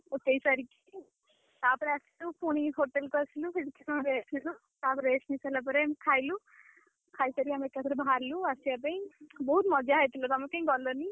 ଉଠେଇସାରିକି, ତାପରେ, ଆସିଲୁ ପୁଣି hotel କୁ ଆସିଲୁ। ସେଠି କିଛି ସମୟ rest ନେଲୁ। ତାପରେ rest ନେଇସାରିଲା ପରେ ଖାଇଲୁ, ଖାଇସାରି ଆମେ ଏକାଥରେ ବାହାରିଲୁ ଆସିବା ପାଇଁ ବହୁତ୍ ମଜା ହେଇଥିଲା। ତମେ କାଇଁ ଗଲନି?